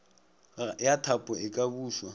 ya thapo e ka bušwa